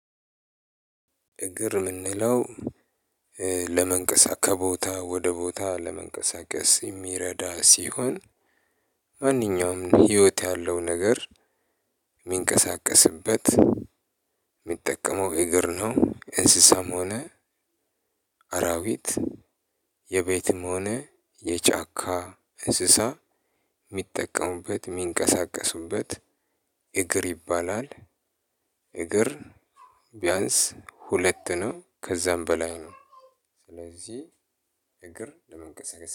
እግር ምንለው ከቦታ ወደ ቦታ ለመንቀሳቀስ የሚረዳ ሲሆን ማንኛውንም ህይወት ያለው ነገር ሚንቀሳቀስበት ሚጠቀመው እግር ነው እንስሳም ሆነ አራዊት የቤትም ሆነ የጫካ እንስሳ ሚጠቀሙበት ሚንቀሳቀሱበት እግር ይባላል። እግር ብየንስ ሁለት ነው ከዛም በላይ ነው ስለዚህ እግር ለመንቀሳቀስ